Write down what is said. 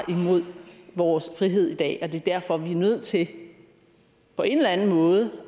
mod vores frihed i dag og det er derfor vi er nødt til på en eller anden måde